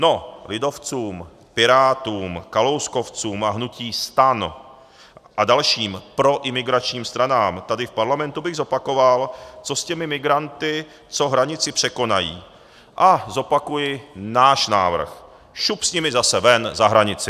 No, lidovcům, Pirátům, kalouskovcům a hnutí STAN a dalším proimigračním stranám tady v parlamentu bych zopakoval, co s těmi migranty, co hranici překonají, a zopakuji náš návrh: šup s nimi zase ven, za hranici!